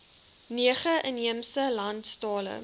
nege inheemse landstale